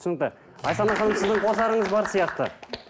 түсінікті сіздің қосарыңыз бар сияқты